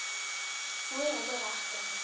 oor hulle regte